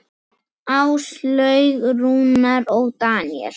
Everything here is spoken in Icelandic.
Áslaug, Rúnar og Daníel.